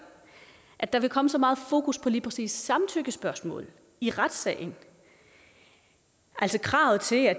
at der vil komme så meget fokus på lige præcis samtykkespørgsmålet i retssagen altså kravet til at